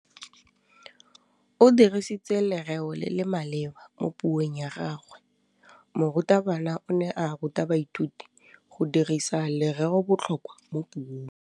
O dirisitse lerêo le le maleba mo puông ya gagwe. Morutabana o ne a ruta baithuti go dirisa lêrêôbotlhôkwa mo puong.